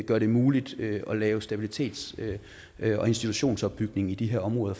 gør det muligt at lave stabilitets og institutionsopbygning i de her områder